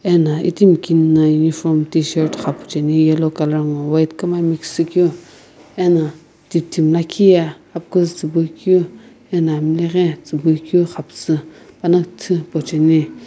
ana itimi kine na uniform tishirt ghapu chae ni yellow colour nguo white kuma mix shikeu ana kitim liikhi ye amkiizii.